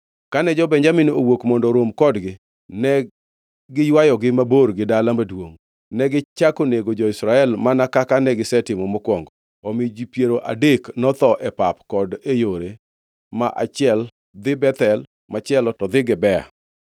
Kane jo-Benjamin nowuok mondo orom kodgi negiywayogi mabor gi dala maduongʼ. Negichako nego jo-Israel mana kaka negisetimo mokwongo, omiyo ji piero adek notho e pap kod e yore; ma achiel dhi Bethel, machielo to dhi Gibea.